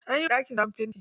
An yiwa ɗakin sabon fenti.